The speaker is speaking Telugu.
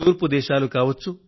తూర్పు దేశాలు కావచ్చు